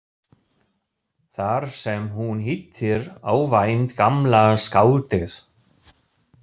Þar sem hún hittir óvænt gamla skáldið.